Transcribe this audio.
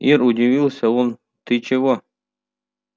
ир удивился он ты чего